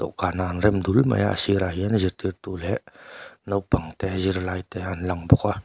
kanah an rem dul mai a a sirah hian zirtirtu leh naupang te zirtlaite an lang bawk a.